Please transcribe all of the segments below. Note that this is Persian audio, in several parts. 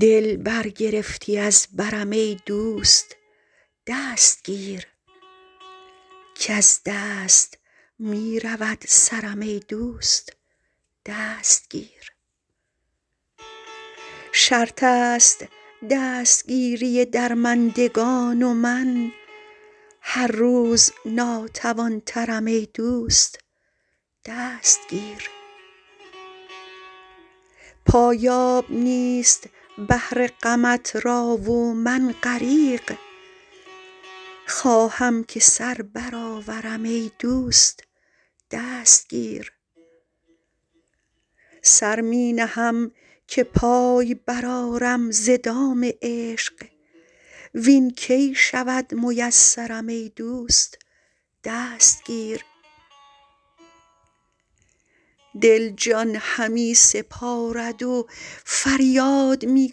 دل برگرفتی از برم ای دوست دست گیر کز دست می رود سرم ای دوست دست گیر شرط است دستگیری درمندگان و من هر روز ناتوان ترم ای دوست دست گیر پایاب نیست بحر غمت را و من غریق خواهم که سر برآورم ای دوست دست گیر سر می نهم که پای برآرم ز دام عشق وین کی شود میسرم ای دوست دست گیر دل جان همی سپارد و فریاد می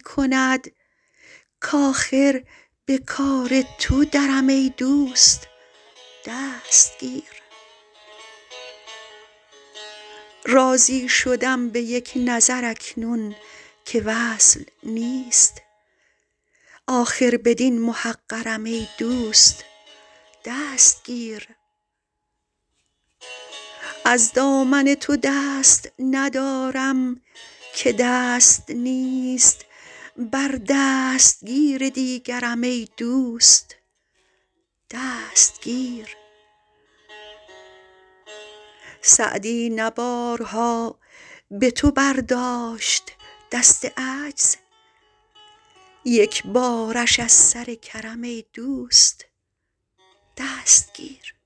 کند کآخر به کار تو درم ای دوست دست گیر راضی شدم به یک نظر اکنون که وصل نیست آخر بدین محقرم ای دوست دست گیر از دامن تو دست ندارم که دست نیست بر دستگیر دیگرم ای دوست دست گیر سعدی نه بارها به تو برداشت دست عجز یک بارش از سر کرم ای دوست دست گیر